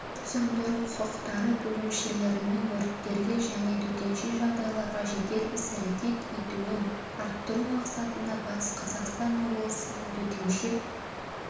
өрт сөндіру-құтқару бөлімшелерінің өрттерге және төтенше жағдайларға жедел іс-әрекет етуін арттыру мақсатында батыс қазақстан облысының төтенше